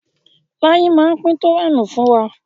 Láyí má pín tówẹ́ẹ̀nù fún wa.